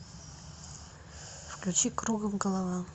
включи кругом голова